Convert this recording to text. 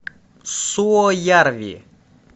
суоярви